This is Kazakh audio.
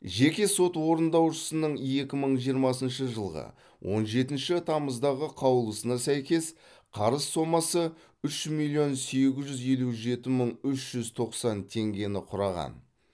жеке сот орындаушысының екі мың жиырмасыншы жылғы он жетінші тамыздағы қаулысына сәйкес қарыз сомасы үш миллион сегіз жүз елу жеті мың үш жүз тоқсан теңгені құраған